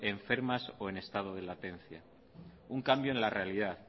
enfermas o en estado de latencia un cambio en la realidad